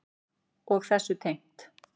Og þessu tengt.